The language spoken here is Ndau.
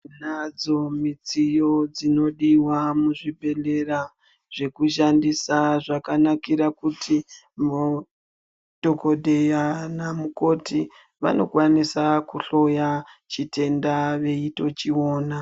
Tinadzo midziyo inodiwa muzvibhehleya zvekushandisa zvakanakira kuti dhokodheya naanamukoti vanokwanisa kuhloya chitenda veitochiona.